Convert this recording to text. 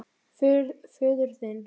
Föður þinn.